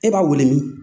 E b'a wele